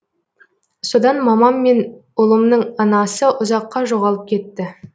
содан мамам мен ұлымның анасы ұзаққа жоғалып кетті